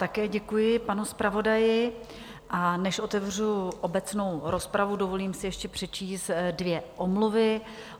Také děkuji panu zpravodaji, a než otevřu obecnou rozpravu, dovolím si ještě přečíst dvě omluvy.